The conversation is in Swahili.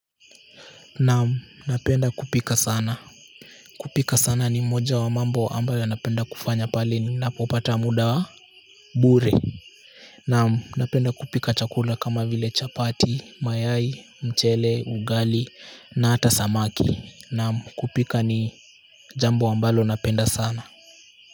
Naam, napenda kupika sana. Kupika sana ni moja wa mambo ambayo napenda kufanya pale ninapopata muda wa bure. Naam, napenda kupika chakula kama vile chapati, mayai, mchele, ugali na hata samaki. Naam, kupika ni jambo ambalo napenda sana.